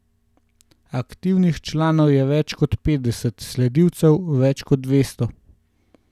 Aktivnih članov je več kot petdeset, sledilcev, več kot dvesto.